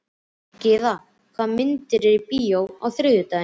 Gyða, hvaða myndir eru í bíó á þriðjudaginn?